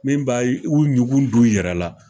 Min b'a y u ɲugun d'u yɛrɛ la